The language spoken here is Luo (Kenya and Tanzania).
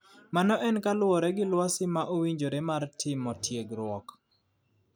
Mano en kaluwore gi lwasi ma owinjore mar timo tiegruok.